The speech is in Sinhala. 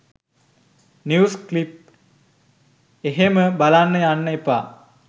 නිවුස් ක්ලිප් එහෙම බලන්න යන්න එපා.